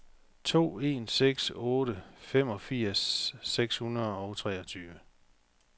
to en seks otte femogfirs seks hundrede og treogtyve